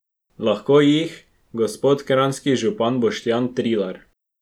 Lahko jih, gospod kranjski župan Boštjan Trilar.